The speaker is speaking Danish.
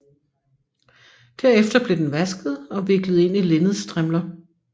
Derefter blev den vasket og viklet ind i linnedstrimler